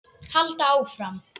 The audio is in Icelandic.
Halda áfram.